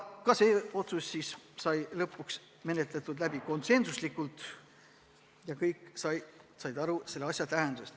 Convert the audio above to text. Ka see otsus sai langetatud konsensuslikult, kõik said aru selle tähendusest.